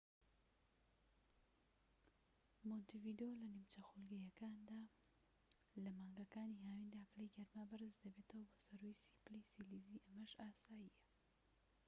مۆنتیڤیدۆ لە نیمچە خولگەییەکانە؛ لە مانگەکانی هاویندا پلەی گەرما بەرز دەبێتەوە بۆ سەروو ٣٠ پلەی سیلیزی و ئەمەش ئاساییە